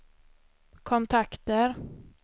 kontakter